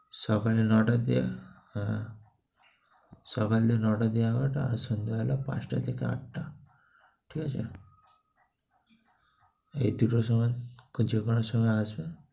সকালে নয়টা থেকে সকালে নয়টা থেকে এগারোটা আর সন্ধ্যে বেলা পাঁচটা থেকে আটটা। ঠিক আছে? এই দুটো সময়, যেকোনো সময় আসো